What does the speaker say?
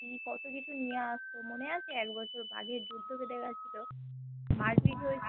কি কতো কিছু নিয়ে আস্ত মনে আছে এক বছর বাঘের যুদ্ধ কে দেখাচ্ছিলো মার্ পিট্ হয়েছিলো